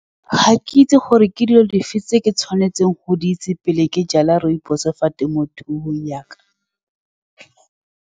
Ga ke itse gore ke dilo dife, tse ke tshwanetseng go di itse pele ke jala rooibos-o fa temothuong ya ka.